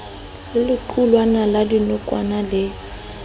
le lequlwana la dinokwane le